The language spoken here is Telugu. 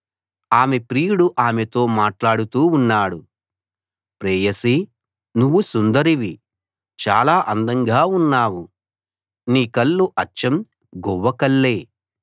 ఆమె ప్రియుడు ఆమెతో మాట్లాడుతూ ఉన్నాడు ప్రేయసీ నువ్వు సుందరివి చాలా అందంగా ఉన్నావు నీ కళ్ళు అచ్చం గువ్వ కళ్ళే